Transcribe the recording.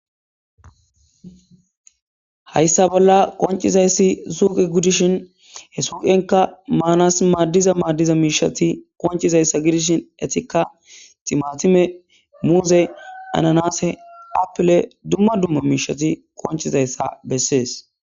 Hayssa bolla qoncizayssi zuuqe gidishin he suuqenka maanas maaddiza maaddiza miishati koncizayssa gidishin etika timatime muuze ananase aple dumma dumma miishati konchizayssa bessees.